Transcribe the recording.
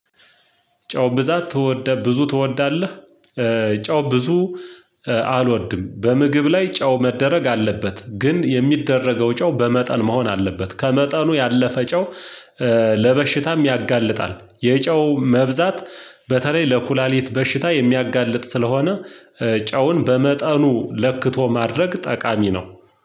ጨው ብዛት ብዙ ትወዳለህ? ጨው ብዙ አልወድም። በምግብ ላይ ጨው መደረግ አለበት ግን የሚደረገው ጨው በመጠን መሆን አለበት ከመጠኑ ያለፈ ጨው። ለበሽታ ያጋልጣል የጨው መብዛት በተለይ ለኩላሊት በሽታ የሚያጋልጥ ስለሆነ ጨውን በመጠኑ ለክቶ ማድረግ ጠቃሚ ነው።